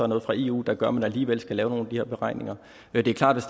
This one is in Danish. noget fra eu der gør at man alligevel skal lave nogle af de her beregninger men det er klart hvis